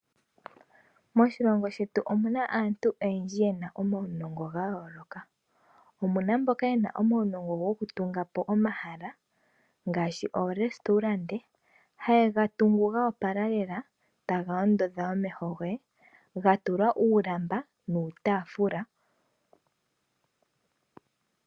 Moshilongo shetu omuna aantu oyendji yena omaunongo ga yooloka. Omuna mboka yena omaunongo go kutunga po omahala ngaashi oorestaurante, haye ga tungu go opala lela taga ondodha omeho goye ga tulwa uulamba nuutaafula.